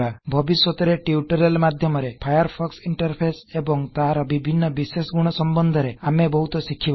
ଭବିଷ୍ୟତରେ ଟ୍ୟୁଟୋରିଆଲ ମାଧ୍ୟମରେ Firefox interface ଏବଂ ତାହାର ବିଭିନ୍ନ ବିଶେଷ ଗୁଣ ସମ୍ବନ୍ଧରେ ଆମେ ବହୁତ ଶିଖିବା